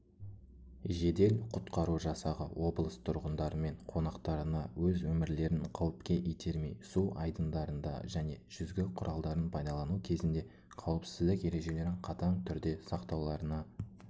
жедел-құтқару жасағы облыс тұрғындарымен қонақтарына өз өмірлерін қауіпке итермей су айдындарында және жүзгі құралдарын пайдалану кезінде қауіпсіздік ережелерін қатаң түрде сақтауларына